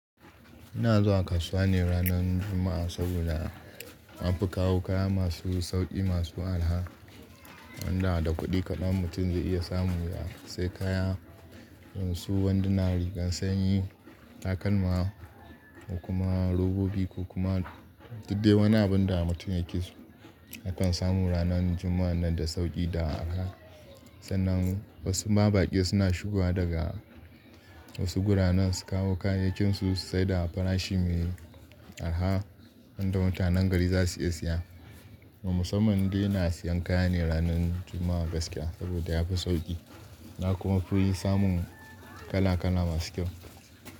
Ina zuwa kasuwa ne ranar Juma'a saboda na fi kawo kaya masu sauƙi, masu araha, wanda da kuɗi kaɗan mutum zai iya samu. Ya sai kaya yanzu, wanduna da rigar sanyi, takalma kuma robobi kokuma duk dai wani abin da mutum yake so akan samu ranar Juma'a nan da sauƙi da araha. Sannan wasu mabaƙi suna shigowa daga wasu garuruwan su kawo kayayyakinsu sai da farashi mai araha wanda mutanen gari za su iya siya. Musamman dai ina siyan kaya ne ranar Juma'a gaskiya saboda yafi sauƙi na kuma fi yi samun kala kala masu kyau.